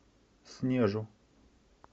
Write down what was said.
снежу